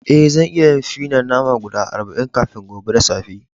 Eh, zan iya yin fi na nama guda arba'in kafin gobe da safe.